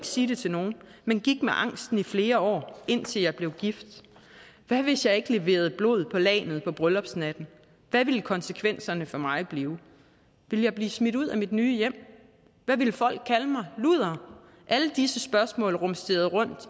sige det til nogen men gik med angsten i flere år indtil jeg blev gift hvad hvis jeg ikke leverede blod på lagnet på bryllupsnatten hvad ville konsekvenserne for mig blive ville jeg blive smidt ud af mit nye hjem og ville folk kalde mig luder alle disse spørgsmål rumsterede